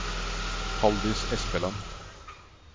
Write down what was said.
Haldis Espeland